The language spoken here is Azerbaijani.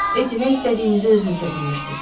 Eti, nə istədiyinizi özünüz də bilmirsiz.